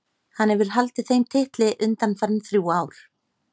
Hann hefur haldið þeim titli undanfarin þrjú ár.